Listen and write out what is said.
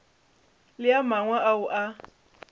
le a mangwe ao a